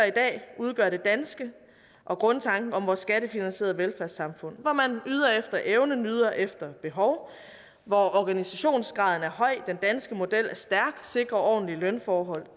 i dag udgør det danske og grundtanken om vores skattefinansierede velfærdssamfund hvor man yder efter evne og nyder efter behov hvor organisationsgraden er høj den danske model er stærk og sikrer ordentlige lønforhold